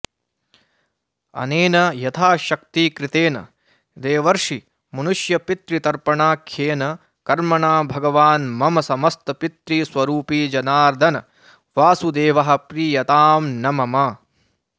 अनेन यथाशक्तिकृतेन देवर्षिमनुष्यपितृतर्पणाख्येन कर्मणा भगवान् मम समस्तपितृस्वरूपी जनार्दनवासुदेवः प्रीयतां न मम